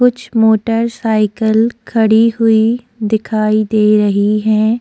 कुछ मोटरसाइकिल खड़ी हुई दिखाई दे रही है।